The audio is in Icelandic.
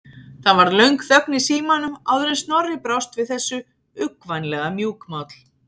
Það varð löng þögn í símanum áður en Snorri brást við þessu, uggvænlega mjúkmáll.